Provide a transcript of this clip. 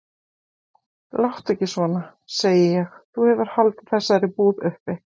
Láttu ekki svona, segi ég, þú hefur haldið þessari búð uppi.